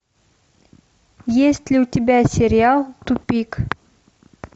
есть ли у тебя сериал тупик